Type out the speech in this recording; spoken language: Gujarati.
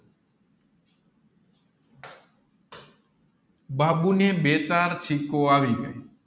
બાબુને બે ચાર છીકો આવી ગયી